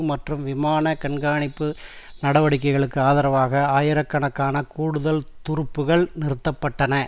மற்றும் விமான கண்காணிப்பு நடவடிக்கைகளுக்கு ஆதரவாக ஆயிர கணக்கான கூடுதல் துருப்புக்கள் நிறுத்த பட்டன